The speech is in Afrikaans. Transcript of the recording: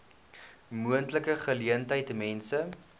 moontlike geleentheid mense